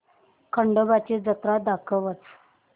खंडोबा ची जत्रा दाखवच